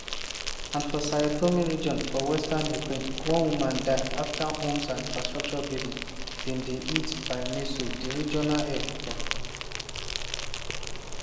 and for zhytomyr region for western ukraine one woman die afta homes and infrastructure buildings bin dey hit by missiles di regional head tok.